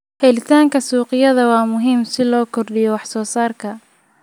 Helitaanka suuqyadu waa muhiim si loo kordhiyo wax soo saarka.